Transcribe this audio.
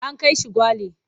An kai shi Gwale.